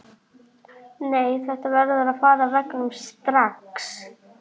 Frjálslegri af því að þau eru bara tvö.